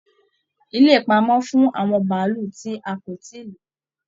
Ilé ipamọ fún àwọn bàálù ti a kò tíì lo.